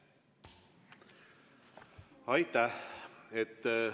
Aitäh!